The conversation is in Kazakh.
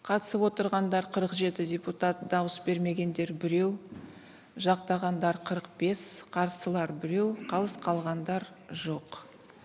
қатысып отырғандар қырық жеті депутат дауыс бермегендер біреу жақтағандар қырық бес қарсылар біреу қалыс қалғандар жоқ